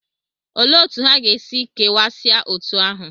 Olee otú ha ga-esi kewasịa otú ahụ?